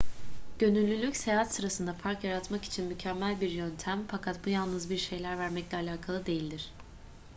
gönüllülük seyahat sırasında fark yaratmak için mükemmel bir yöntem fakat bu yalnız bir şeyler vermekle alakalı değildir